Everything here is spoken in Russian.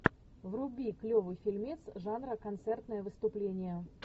вруби клевый фильмец жанра концертное выступление